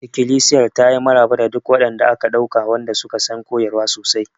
Ikilisiyar ta yi maraba da duk waɗanda aka ɗauka wanda suka san koyarwa sosai.